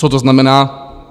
Co to znamená?